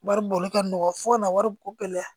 Wari bɔli ka nɔgɔ fo ka na wari ko gɛlɛya